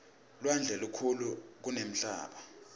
lwandle lukhulu kunemhlaba